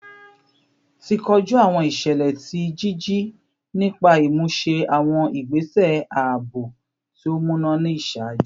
Ti koju awọn iṣẹlẹ ti jiji nipa imuse awọn igbese aabo ti o muna ni iṣaaju